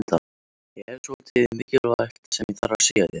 Ég hef svolítið mikilvægt sem ég þarf að segja þér.